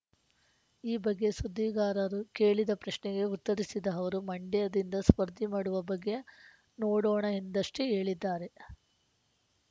ಈ ಬಗ್ಗೆ ಸುದ್ದಿಗಾರರು ಕೇಳಿದ ಪ್ರಶ್ನೆಗೆ ಉತ್ತರಿಸಿದ ಅವರು ಮಂಡ್ಯದಿಂದ ಸ್ಪರ್ದಿ ಮಾಡುವ ಬಗ್ಗೆ ನೋಡೋಣ ಎಂದಷ್ಟೇ ಹೇಳಿದ್ದಾರೆ